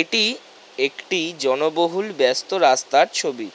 এটি একটি জনবহুল ব্যস্ত রাস্তার ছবি।